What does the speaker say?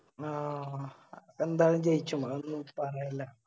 ആഹ് എന്തായാലും ജയിച്ചും അതൊന്നും